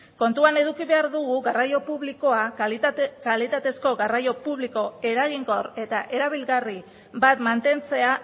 kontuan eduki behar dugu kalitatezko garraio publiko eraginkor eta erabilgarri bat mantentzea